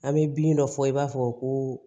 An bɛ bin dɔ fɔ i b'a fɔ ko